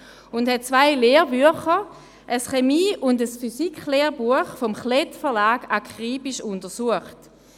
Sie hat zwei Lehrbücher, ein Chemie- und ein Physiklehrbuch des Klett-Verlags, akribisch untersucht.